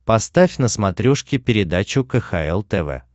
поставь на смотрешке передачу кхл тв